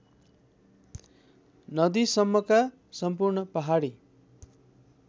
नदीसम्मका सम्पूर्ण पहाडी